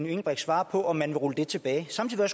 engelbrecht svare på om man vil rulle det tilbage samtidig